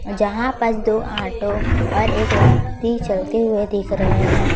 यहां पर दो ऑटो और एक व्यक्ति चलते हुए दिख रहे हैं।